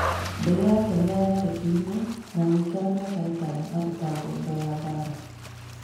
Ndege yake nĩ yatharĩkĩirũo, na agĩikara mĩaka ĩtano arĩ ta ngombo ya mbaara.